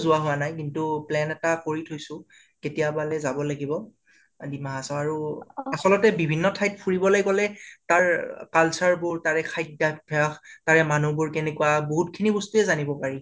যোৱা হোৱা নাই, কিন্তু plan এটা কৰি থৈছো কেতিয়াবালে যাব লাগিব আ ডিমা হাচাও আৰু আছলতে বিভিন্ন ঠাইত ফুৰিবলে গলে তাৰ ৰৰ culture বোৰ, তাৰে খাইদ্য়াভাস, তাৰে মানুবোৰ কেনেকুৱা, বাহুত খিনি বস্তুএ জানিব পাৰি।